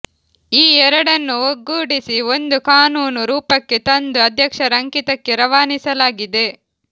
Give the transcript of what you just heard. ಈ ಎರಡನ್ನೂ ಒಗ್ಗೂಡಿಸಿ ಒಂದು ಕಾನೂನು ರೂಪಕ್ಕೆ ತಂದು ಅಧ್ಯಕ್ಷರ ಅಂಕಿತಕ್ಕೆ ರವಾನಿಸಲಾಗಿದೆ